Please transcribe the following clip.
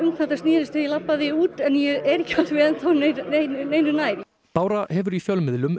þetta snerist þegar ég labbaði út en ég er ekki enn þá neinu nær bára hefur í fjölmiðlum